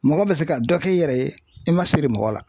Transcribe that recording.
Mɔgɔ bɛ se ka dɔ k'i yɛrɛ ye i ma siri mɔgɔ la